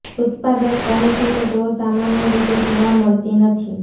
ઉત્પાદક કહે છે કે તેઓ સામાન્ય રીતે જોવા મળતી નથી